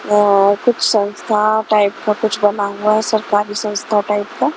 अह कुछ संस्था टाइप कुछ का बना हुआ सरकारी संस्था टाइप का।